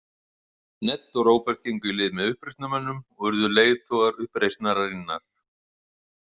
Ned og Róbert gengu í lið með uppreisnarmönnum og urðu leiðtogar uppreisnarinnar.